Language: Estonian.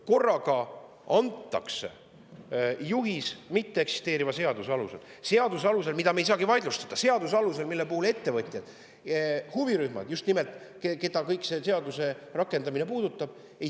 Korraga antakse juhiseid mitteeksisteeriva seaduse alusel, mida me ei saagi vaidlustada; seaduse alusel, mille rakendamise kohta ei saagi mitte midagi veel teada just nimelt ettevõtjad, huvirühmad, keda see puudutab.